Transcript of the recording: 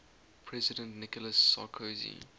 president nicolas sarkozy